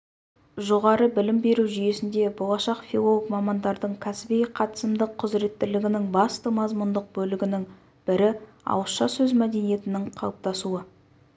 жоғары білім беру жүйесінде болашақ филолог мамандардың кәсіби қатысымдық құзыреттілігінің басты мазмұндық бөлігінің бірі ауызша сөз мәдениетінің қалыптасуы